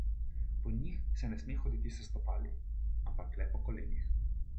Po njih se ne sme hoditi s stopali, ampak le po kolenih.